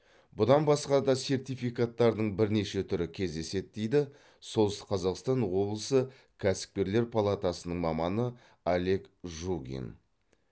бұдан басқа да сертификаттардың бірнеше түрі кездеседі дейді солтүстік қазақстан облысы кәсіпкерлер палатасының маманы олег жугин